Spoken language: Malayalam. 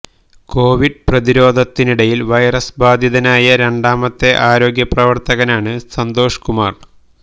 കോവിഡ് പ്രതിരോധത്തിനിടയില് വൈറസ് ബാധിതനായ രണ്ടാമത്തെ ആരോഗ്യപ്രവര്ത്തകനാണ് സന്തോഷ് കുമാര്